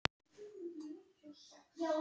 Við höfum reynslu fyrir því.